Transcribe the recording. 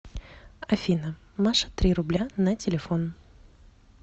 афина маша три рубля на телефон